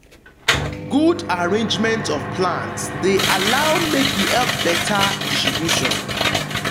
good arrangement of plants de allow make e help better distribution